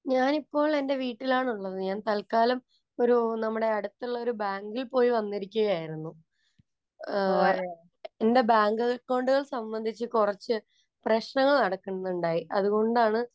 ഞാനിപ്പോള്‍ എന്‍റെ വീട്ടിലാണുള്ളത്. ഞാൻ തല്ക്കാലം ഒരു നമ്മുടെ അടുത്തുള്ള ഒരു ബാങ്കില്‍ പോയി വന്നിരിക്കുകയായിരുന്നു. എന്‍റെ ബാങ്ക് അക്കൗണ്ടുകൾ സംബന്ധിച്ച് കുറച്ചു പ്രശ്നങ്ങള്‍ നടക്കുന്നുണ്ടായി. അതുകൊണ്ടാണ്‌